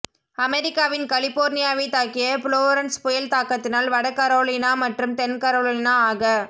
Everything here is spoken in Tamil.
அமெரிக்காவின் கலிபோர்னியாவை தாக்கிய புளொரன்ஸ் புயல் தாக்கத்தினால் வட கரோலினா மற்றும் தென் கரோலினா ஆக